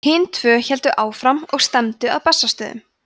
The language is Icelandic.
hin tvö héldu áfram og stefndu að bessastöðum